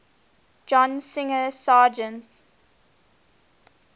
john singer sargent